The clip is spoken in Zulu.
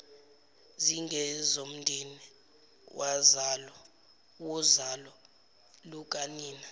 zingezomndeni wozalo lukanina